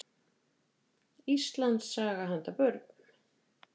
Íslandssaga handa börnum.